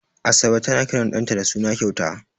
Asabe tana kiran ɗanta da suna kyauta.